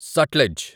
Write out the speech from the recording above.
Sutlej